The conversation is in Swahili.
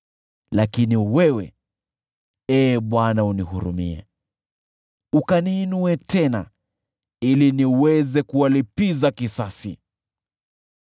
Lakini wewe, Ee Bwana , nihurumie, ukaniinue tena, ili niweze kuwalipiza kisasi.